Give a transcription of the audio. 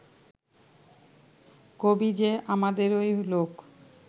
কবি যে আমাদেরই লোক